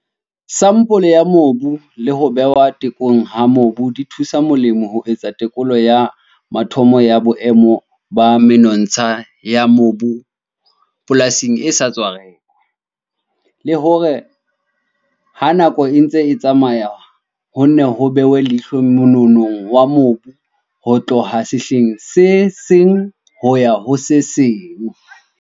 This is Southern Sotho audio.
Sampole ya mobu le ho behwa tekong ha mobu di thusa molemi ho etsa tekolo ya mathomo ya boemo ba menontsha ya mobu polasing e sa tswa rekwa, le hore ha nako e ntse e tsamaya ho nne ho behwe leihlo mononong wa mobu ho tloha sehleng se seng ho ya ho se seng.